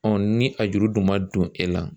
ni a juru dun ma don e la